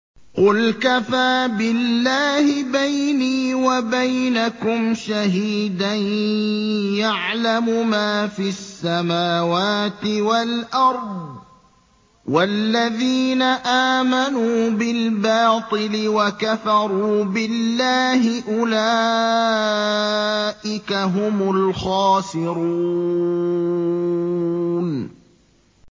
قُلْ كَفَىٰ بِاللَّهِ بَيْنِي وَبَيْنَكُمْ شَهِيدًا ۖ يَعْلَمُ مَا فِي السَّمَاوَاتِ وَالْأَرْضِ ۗ وَالَّذِينَ آمَنُوا بِالْبَاطِلِ وَكَفَرُوا بِاللَّهِ أُولَٰئِكَ هُمُ الْخَاسِرُونَ